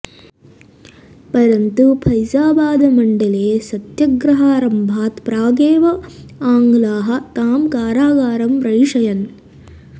परन्तु फैजाबादमण्डले सत्यग्रहारम्भात् प्रागेव आङ्ग्लाः तां कारागारं प्रैषयन्